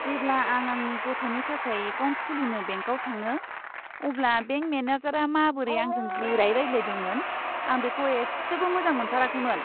जेब्ला आं आंनि गथ'नि थाखाय एकाउन्ट खुलिनो बेंकआव थाङो, अब्ला बेंक मेनेजारआ माबोरै आंजों गोरायै रायज्लायदोंमोन, आं बेखौ एसेबो मोजां मोनथाराखैमोन।